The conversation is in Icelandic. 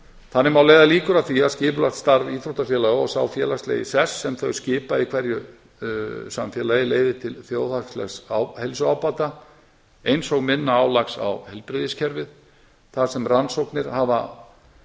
þannig má leiða líkur að því að skipulegt starf íþróttafélaga og sá félagslegi sess sem þau skipa í hverju samfélagi leiði til þjóðhagslegs heilsuábata eins og minna álags á heilbrigðiskerfið þar sem rannsóknir hafa